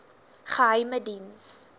geheimediens